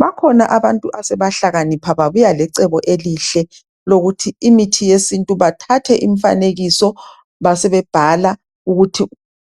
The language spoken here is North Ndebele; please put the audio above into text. Bakhona abantu asebahlakanipha babuya lecebo elihle lokuthi imithi yesintu bathathe imfanekiso basebe bhala,